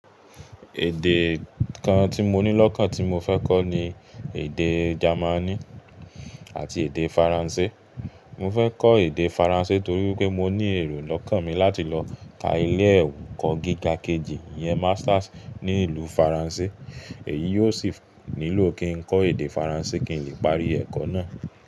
Èdè kan tí mo ní lọ́kàn tí mo fẹ́ kọ́ ni èdè Jamani àti èdè Faransé. Mo fẹ́ kọ́ èdè Faransé torí pé mo ní èrò lọ́kàn mi láti lọ ka ilé ẹ̀kọ́ gíga kejì yẹn Masters ní ìlú Faransé. Èyí yóò sì nílò kí n kọ́ èdè Faransé kí n lè parí ẹ̀kọ́ náà.